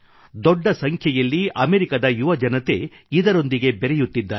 ದೊಡ್ಡ ಸಂಖ್ಯೆಯಲ್ಲಿ ಅಮೇರಿಕದ ಯುವಜನತೆ ಇದರೊಂದಿಗೆ ಬೆರೆಯುತ್ತಿದ್ದಾರೆ